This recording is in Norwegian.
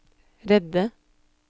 redde